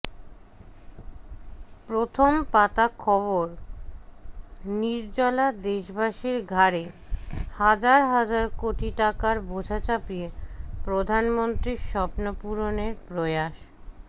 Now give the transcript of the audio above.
প্রথম পাতা খবর নির্জলা দেশবাসীর ঘাড়ে হাজার হাজার কোটি টাকার বোঝা চাপিয়ে প্রধানমন্ত্রীর স্বপ্নপূরণের প্রয়াস